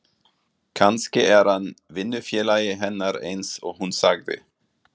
Kannski er hann vinnufélagi hennar eins og hún sagði.